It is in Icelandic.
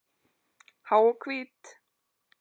Há og hvít.